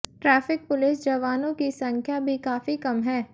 traffic police जवानों की संख्या भी काफी कम है